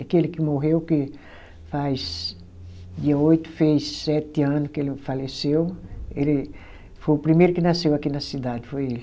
Aquele que morreu, que faz dia oito fez sete ano que ele faleceu, ele foi o primeiro que nasceu aqui na cidade, foi ele.